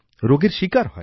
রোগের শিকার হয়